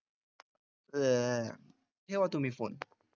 अ ठेवा तुम्ही phone.